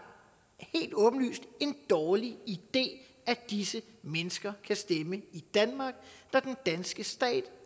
en dårlig idé at disse mennesker kan stemme i danmark når den danske stat